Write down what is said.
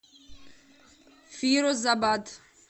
фирозабад